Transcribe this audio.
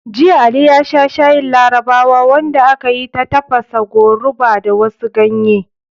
Jiya, Ali ya sha shayin Larabawa wanda aka yi ta tafasa goruba da wasu ganye.